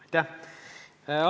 Aitäh!